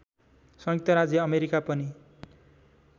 संयुक्त राज्य अमेरिका पनि